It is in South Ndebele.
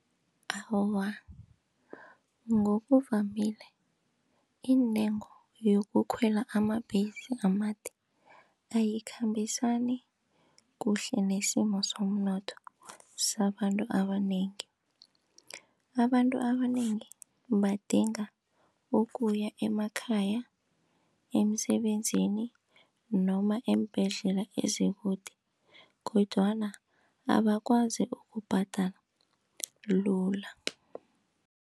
Awa, ngokuvamile intengo yokukhwela amabhesi amade ayikhambisani kuhle nesimo somnotho sabantu abanengi abantu abanengi badinga ukuya emakhaya, emisebenzini noma eembhedlela ezikude kodwana abakwazi ukubhadala lula.